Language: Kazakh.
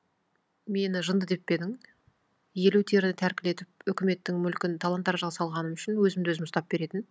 мені жынды деп пе едің елу теріні тәркілетіп үкіметтің мүлкін талан таражыға салғаным үшін өзімді өзім ұстап беретін